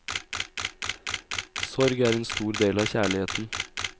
Sorg er en stor del av kjærligheten.